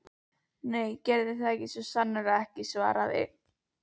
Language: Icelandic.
Nei, það gerði hann svo sannarlega ekki- svaraði